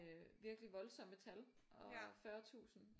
Øh virkelig voldsomt med tal og 40000